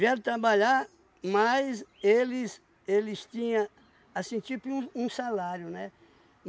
vieram trabalhar, mas eles eles tinha, assim, tipo um um salário, né?